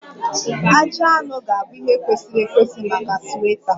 Ajị anụ ga-abụ ihe kwesịrị ekwesị maka sweta